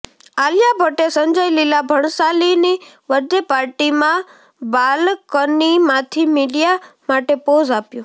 આલિયા ભટ્ટે સંજય લીલા ભણસાલીની birthday પાર્ટીમાં બાલકનીમાંથી મીડિયા માટે પોઝ આપ્યો